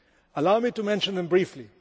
Allow me to mention them briefly.